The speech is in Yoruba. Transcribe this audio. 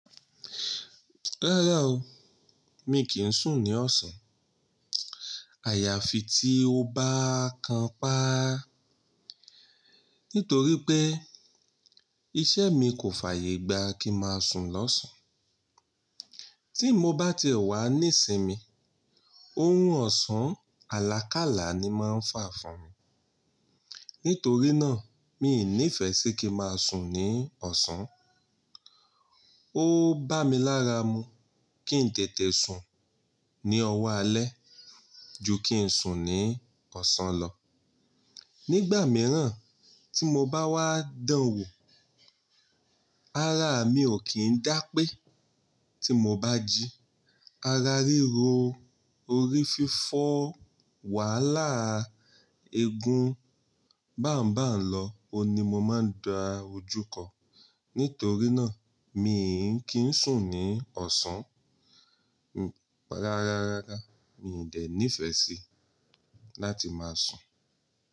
Rárá o, mi kì ń sùn ní ọ̀sán. Àyààfì tí o bá kan pa, nítorí pé iṣẹ́ mi kò fàyè gbá kí ma sùn lọ́sàn. Tí mo bá ti e wà ní sinmi, orun ọ̀sán àlàkalà ni máa ń fà fún mi. Nítorí náà, mii ní ìfẹ́ sí kí n maa sùn ní ọ̀sán. Ó bá mi lára mu kí n tètè sùn ní ọwọ́ alẹ́ ju kí n sùn ní ọ̀sán lọ. Nígbà mìíràn tí mo bá wá dánwò, ara mi ò kín dá pé. Tí mo bá jí ara ríro, orí fífọ́, wàhálà eegun báuńbàuń lọ oun ni mo máa dá ojú kọ. Nítorí náà, mi kì ń sùn ní ọ̀sán. Rárá, mi ò de ní ìfẹ́ sí láti máa sùn.